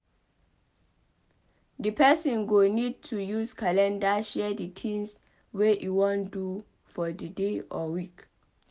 Di person go need to use calender share the tins wey e wan do for the day or week